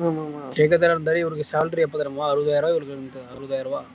இருந்தாரு இவருக்கு salary எப்ப தருவான் அறுபதாயிரம் ரூபாய் அறுபதாயிரம் ரூபாய்